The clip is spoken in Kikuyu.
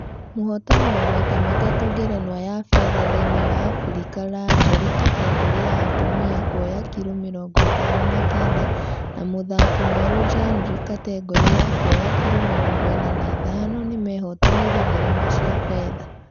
Mũhotani wa maita matatũ ngerenwa ya fedha thĩinĩ wa africa langley kategore ya atumia kuoya kiro mirongo itano na kenda na mũthaki mwerũ janely kategore ya kuoya kiro mirongo ĩna na ithano nĩmehotanĩire ngerenwa cia fedha